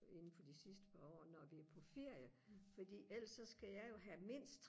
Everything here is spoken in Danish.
inden for de sidste par år når vi er på ferie fordi ellers så skal jeg jo have mindst